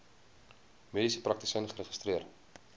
mediese praktisyn geregistreer